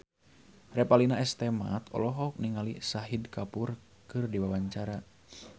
Revalina S. Temat olohok ningali Shahid Kapoor keur diwawancara